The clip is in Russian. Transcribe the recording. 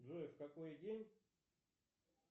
джой в какой день